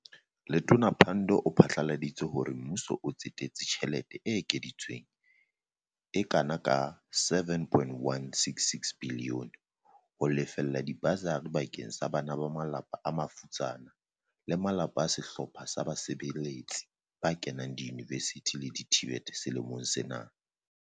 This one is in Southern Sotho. Letona Pandor o phatlaladi tse hore Mmuso o tsetetse tjhe lete e ekeditsweng e kana ka R7.166 biliyone ho lefella diba sari bakeng sa bana ba malapa a mafutsana le malapa a sehlo pha sa basebeletsi ba kenang diyunivesithing le di-TVET selemong sena.